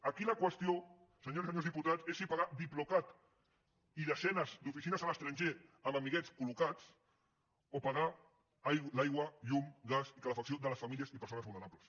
aquí la qüestió senyores i senyors diputats és si pagar diplocat i desenes d’oficines a l’estranger amb amiguets col·locats o pagar l’aigua llum gas i calefacció de les famílies i persones vulnerables